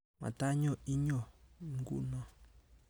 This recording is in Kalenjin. Matany'oo iyyoo nkuuno